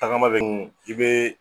Tagama bɛ i bee